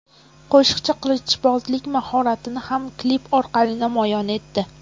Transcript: Qo‘shiqchi qilichbozlik mahoratini ham klip orqali namoyon etdi.